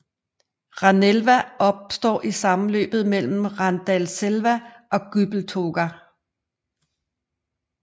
Ranelva opstår i sammenløbet mellem Randalselva og Gubbeltåga